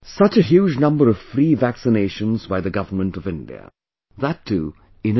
Such a huge number of free vaccinations by the Government of India; that too in a day